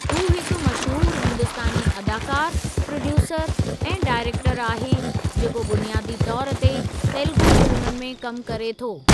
हू हिकु मशहूरु हिंदुस्तानी अदाकारु, प्रोड्यूसरु ऐं डाइरेक्टरु आहे जेको बुनियादी तौर ते तेलुगू फिल्मुनि में कमु करे थो।